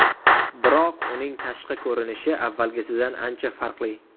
Biroq uning tashqi ko‘rinishi avvalgisidan ancha farqli.